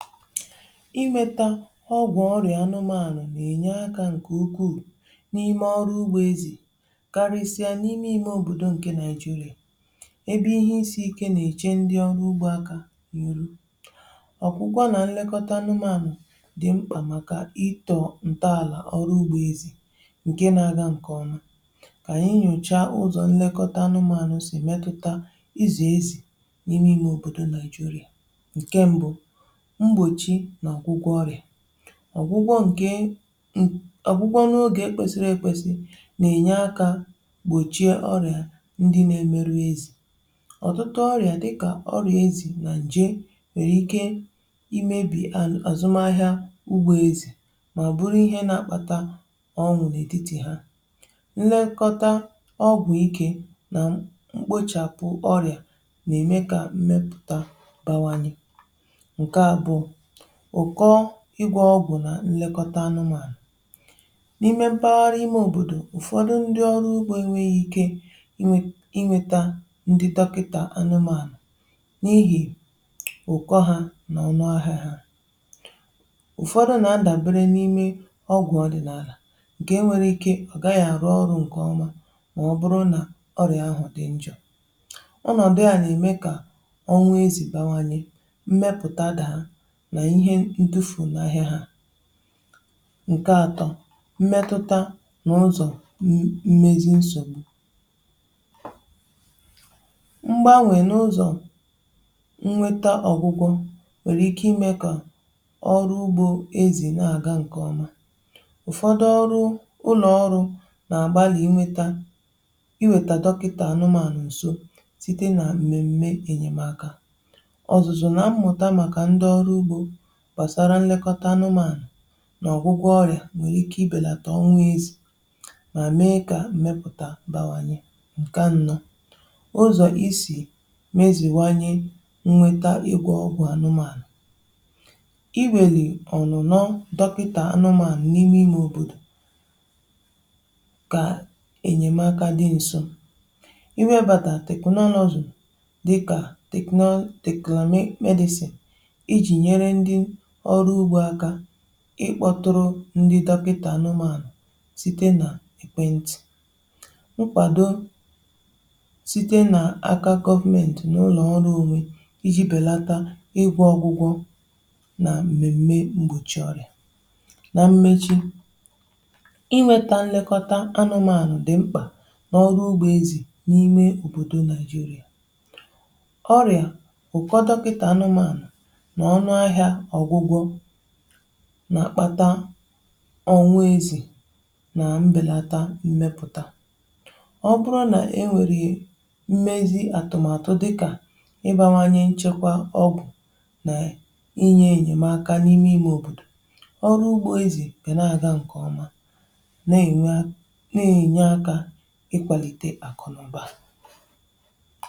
Ịmètȧ ọgwụ̀ ọrịa anụmanụ̀ nà-enye aka nke ukwuu n’ime ọrụ ugbo ezì, karịsịa n’ime ime òbòdò nke Nigeria, um ebe ihe isi ike nà-eche ndị ọrụ ugbo aka n’azụ. Ọkwúkwa nà nlekọta anụmanụ̀ dị́ mkpa, um màkà itò ntàlà ọrụ ugbo ezì nke na-aga nke ọma. Ka anyị nyòchàa ụzọ̀ nlekọta anụmanụ̀ si metutà ịzụ ezi n’ime ime òbòdò Nigeria. Ọ̀gwụgwọ̀ nke, ọ̀gwụgwọ̀ n’onụ oge kwesiri ekwesi, nà-ènye aka igbochi ọrịa ndị nà-emerụ ezì. Ọ̀tụtụ ọrịa dịkà ọrịa ezì nà ǹje, nwèrè ike imèbì àzụmahịa ugbo ezì,.. màọ̀bụ̀ bụrụ ihe nà-àkpàta ọnwụ̀ nà-èditi ha. Nlekọta ọgwụ̀ ike nà mkpochàpụ ọrịa nà-ème kà mmepụ̀ta bawanye. Ụ̀kọ ịgwà ọgwụ̇ nà nlekọta anụmanụ̀ n’ime mpaghara ime òbòdò, um bụ nsogbu. Ụ̀fọdụ ndị ọrụ ugbo enweghi ike inwè, inweta ndị dọkịta anụmanụ̀, n’ihi ụ̀kọ ha n’ọnụ ahụ̇ ha. Ụ̀fọdụ nà-ndàbere n’ime ọgwụ̀ ọdị̀nàlà, nke enwere ike na ọ̀ gaghị arụ ọrụ nke ọma, màọ̀bụ̀rị̀ nà ọrịa ahụ̀ dị njọ̇. Ọnọdụ a nà-ème kà ọnwụ ezì bawanye,.. nke atọ̀ mmetuta nà ụzọ̀ mmezi nsògbu. Mgbanwè n’ụzọ̀ nwetà ọgwụgwọ̇, nwèrè ike ime kà ọrụ ugbo ezì na-aga nke ọma. Ụ̀fọdụ ụlọ ọrụ nà-agbalị iweta dọkịta anụmanụ̀ nà nso site nà mmemme enyemaka gbasara nlekọta anụmanụ̀ nà ọgwụgwọ̀ ọrịa, um nke nwèrè ike ibelata ọnwụ ezì, mà mee kà mmepụ̀ta bàwànyè. Nke nnọ̇ ụzọ̀ isi mezìwanye, um nwetà egwù ọgwụ̀ anụmanụ̀, bụ iwèlì ọnụ̀ nọọ dọkịta anụmanụ̀ n’ime ime òbòdò, kà enyemaka dị nso... Iwebàtà teknọlụ̀ ọzọ̀ dịkà teknọlụ̀ Techna-Medicine ikpọtụrụ ndị dọkịta anụmanụ̀ site nà ekwentị̀... bụkwa ụzọ ọma. Mkwado site nà aka gọọmenti n’ụlọ̀ ọrụ onwe, um iji̇ belata ụgwọ ọgwụgwọ̀ nà mmemme mgbòchi ọrịa, nà mmechi inweta nlekọta anụmanụ̀, dị mkpà n’ọrụ ugbo ezì n’ime òbòdò Nigeria. Ọrịa, ụ̀kọ dọkịta anụmanụ̀, nà-àkpata ọnwụ ezì, na mbèlata mmepụ̀ta. Ọ bụrụ nà e nwèrè mmezi àtụ̀màtụ dịkà ibàwanye nchekwa ọgụ̀, nà inye enyemaka n’ime ime òbòdò, um ọrụ ugbo ezì gà na-aga nke ọma, nà-ènwe, nà-ènye aka, ịkwalite àkụ̀nụ̀ba.